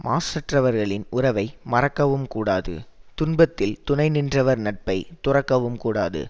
மாசற்றவர்களின் உறவை மறக்கவும் கூடாது துன்பத்தில் துணை நின்றவர் நட்பை துறக்கவும் கூடாது